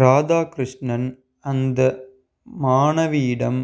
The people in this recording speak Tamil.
ராதாகிருஷ்ணன் அந்த மாணவியிடம்